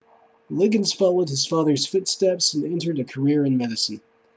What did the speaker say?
liggins followed in his father's footsteps and entered a career in medicine